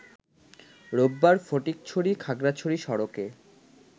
রোববার ফটিকছড়ি-খাগড়াছড়ি সড়কে